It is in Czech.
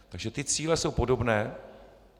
Takže ty cíle jsou podobné.